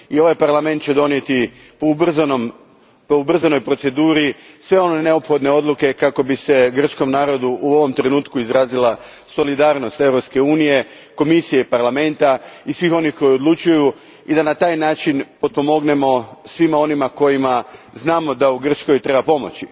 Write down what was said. Ovaj Parlament će donijeti po ubrzanoj proceduri sve one neophodne odluke kako bi se grčkom narodu u ovom trenutku izrazila solidarnost Europske unije, Komisije i Parlamenta i svih onih koji odlučuju, i da na taj način pomognemo svima onima za koje znamo da u Grčkoj trebaju pomoć.